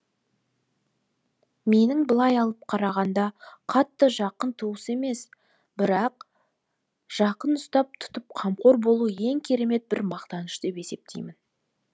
менің былай алып қарағанда қатты жақын туыс емес бірақ та жақын ұстап тұтып қамқор болу ең керемет бір мақтаныш деп есептеймін